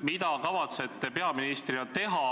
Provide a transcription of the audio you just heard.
Mida te kavatsete peaministrina teha,